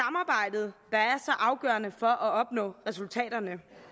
afgørende for at opnå resultaterne